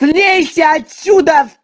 слейся отсюда